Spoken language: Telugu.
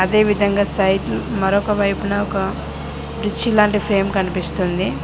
అదేవిదంగా మరొకవైపున ఒక లాంటి ఫ్రేమ్ కనిపిస్తుంది.